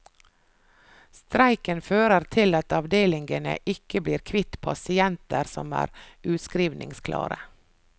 Streiken fører til at avdelingene ikke blir kvitt pasienter som er utskrivningsklare.